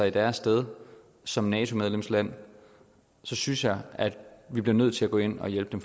i deres sted som nato medlemsland synes jeg at vi bliver nødt til at gå ind og hjælpe dem